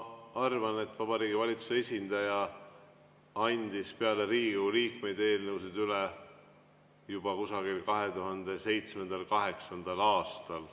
Ma arvan, et Vabariigi Valitsuse esindaja andis peale Riigikogu liikmeid eelnõusid üle juba 2007.–2008. aastal.